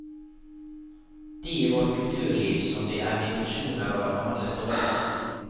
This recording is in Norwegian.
De i vårt kulturliv som det er dimensjoner over behandles dårlig.